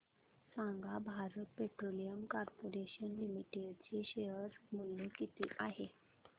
सांगा Bharat petroleum corporation limited चे share मूल्य किती आहे